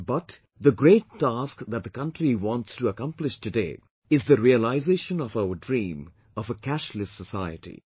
But, the great task that the country wants to accomplish today is the realisation of our dream of a 'Cashless Society'